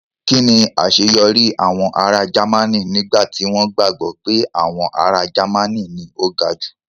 kín ni àṣeyọrí àwọn ará Jẹ́mánì nígbà tí wọ́n gbàgbọ́ pé àwọn ará Jẹ́mánì ni o ga jù?